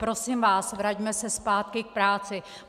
Prosím vás, vraťme se zpátky k práci.